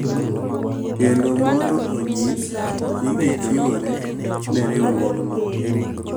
Kendo mondo onyis ni gichiwore ne riwruogno.